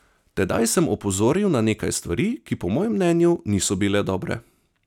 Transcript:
Tedaj sem opozoril na nekaj stvari, ki po mojem mnenju niso bile dobre.